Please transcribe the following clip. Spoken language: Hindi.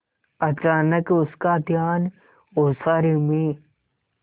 अचानक उसका ध्यान ओसारे में